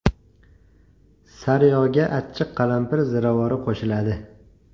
Sariyog‘ga achchiq qalampir ziravori qo‘shiladi.